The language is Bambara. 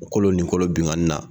O kolo nin kolo binkanni na